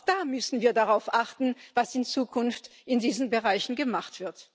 Auch da müssen wir darauf achten, was in Zukunft in diesen Bereichen gemacht wird.